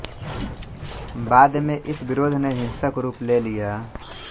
बाद में इस विरोध ने हिंसक रूप ले लिया